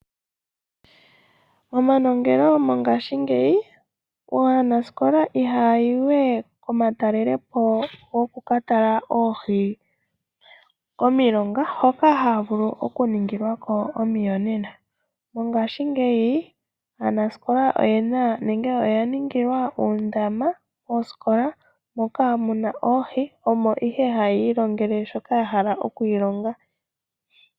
Momanongelo mongaashingeyi aanasikola ihayayi we komatalelepo gokomilonga hoka haya vulu oku ningilwako omiyonena . Mongashingeyi aanasikola oya ningilwa uundama moosikola moka muna oohi omo ihe haya ilongele shoka yahala oku ilonga.